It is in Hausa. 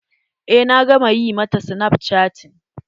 Eh na gama ƴi ma ta snapchatting.